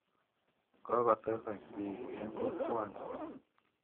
Kokotesak piik eng' kokwani.